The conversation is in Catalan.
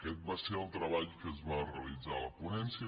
aquest va ser el treball que es va realitzar a la ponència